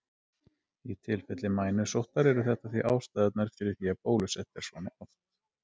Í tilfelli mænusóttar eru þetta því ástæðurnar fyrir því að bólusett er svona oft.